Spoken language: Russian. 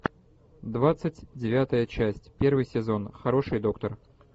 двадцать девятая часть первый сезон хороший доктор